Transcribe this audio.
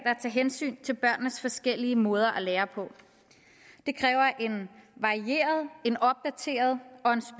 hensyn til børnenes forskellige måder at lære på det kræver en varieret en opdateret og